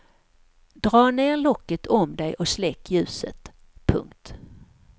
Dra ner locket om dig och släck ljuset. punkt